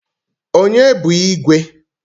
Onye bu igwe?